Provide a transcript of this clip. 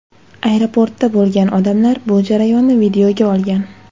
Aeroportda bo‘lgan odamlar bu jarayonni videoga olgan.